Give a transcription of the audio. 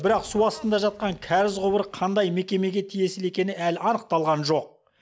бірақ су астында жатқан кәріз құбыры қандай мекемеге тиесілі екені әлі анықталған жоқ